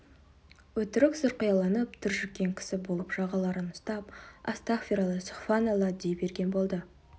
өтірік сұрқияланып түршіккен кісі болып жағаларын ұстап астағфиралла сүбіханалла дей берген болды